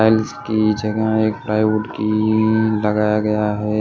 Tiles की जगह एक प्लाईवुड की लगाया गया है।